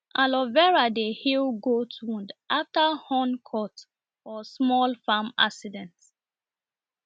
aloe vera dey heal goat wound after horn cut or small farm accident